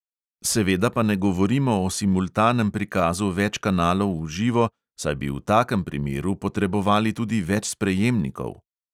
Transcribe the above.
Seveda pa ne govorimo o simultanem prikazu več kanalov v živo, saj bi v takem primeru potrebovali tudi več sprejemnikov.